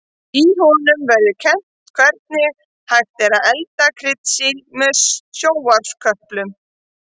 Í honum verður kennt hvernig hægt er að elda kryddsíld með sjónvarpsköplum.